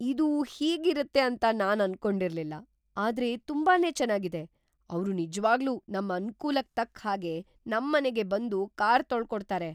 ಇದು ಹೀಗಿರತ್ತೆ ಅಂತ ನಾನ್‌ ಅನ್ಕೊಂಡಿರ್ಲಿಲ್ಲ, ಆದ್ರೆ ತುಂಬಾನೇ ಚೆನಾಗಿದೆ! ಅವ್ರು ನಿಜ್ವಾಗ್ಲೂ ‌ನಮ್ ಅನುಕೂಲಕ್‌ ತಕ್ಕ್‌ ಹಾಗೆ ನಮ್ಮನೆಗೇ ಬಂದು ಕಾರ್‌ ತೊಳ್ಕೊಡ್ತಾರೆ!